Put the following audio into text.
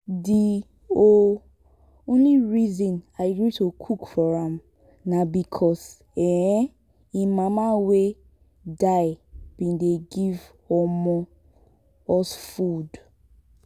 the um only reason i gree to cook for am na because um im mama wey die bin dey give um us food